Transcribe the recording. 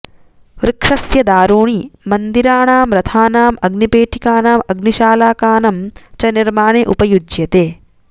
वृक्षस्य दारूणि मन्दिराणां रथानां अग्निपेटिकनां अग्निशालाकानं चनिर्माणे उपयुज्यते